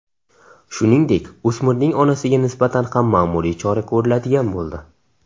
Shuningdek, o‘smirning onasiga nisbatan ham ma’muriy chora ko‘riladigan bo‘ldi.